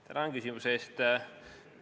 Tänan küsimuse eest!